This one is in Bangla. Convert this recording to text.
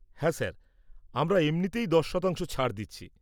-হ্যাঁ স্যার, আমরা এমনিতেই ১০ শতাংশ ছাড় দিচ্ছি।